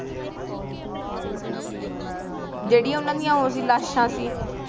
ਜੇਡੀ ਉਨ੍ਹਾਂ ਦੀ ਓ ਸੀ ਲਾਸ਼ਾਂ ਸੀ